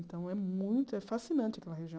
Então, é muito é fascinante aquela região.